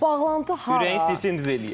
bağlantı hansı ürəyin istəyirsə indi də eləyək.